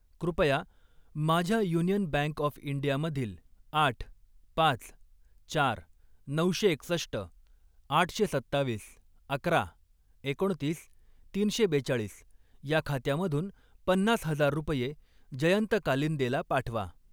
कृपया माझ्या union bank of India मधील आठ, पाच, चार, नऊशे एकसष्ट, आठशे सत्तावीस, अकरा, एकोणतीस, तीनशे बेचाळीस या खात्यामधून पन्नास हजार रुपये जयंत कालिंदेला पाठवा.